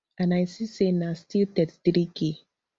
and i see say na still thirty-threek